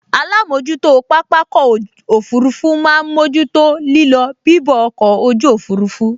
Alámojútó pápákọ̀ òfurufú máa n mójú tó lílọ bibọ̀ ọkọ̀ ojú òfurufú